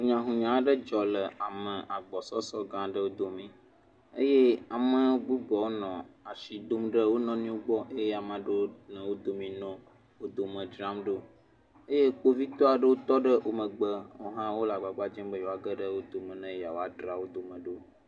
Hunyahunya aɖe dzɔ le ame agbɔsɔsɔ gã aɖewo domi eye ame bubuawo nɔ asi dom ɖe wo nɔnɔewo gbɔ eye ame aɖewo nɔ wo domi nɔ wo dome dzram ɖo eye kpovitɔwo aɖewo tɔ ɖe wo megbe wo hã wo le agbagba dzem be yewoa geɖe wo dome ne yewaodzra wo dome ɖo.